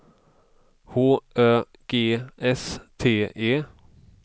H Ö G S T E